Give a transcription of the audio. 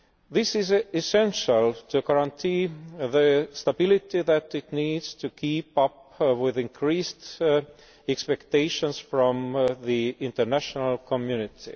This is essential to guarantee the stability that it needs to keep up with increased expectations from the international community.